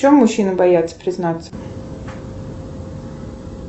в чем мужчины боятся признаться